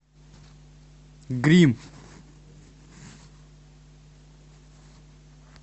гримм